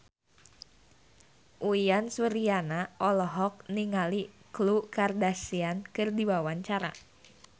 Uyan Suryana olohok ningali Khloe Kardashian keur diwawancara